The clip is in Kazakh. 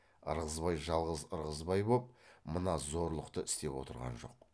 ырғызбай жалғыз ырғызбай боп мына зорлықты істеп отырған жоқ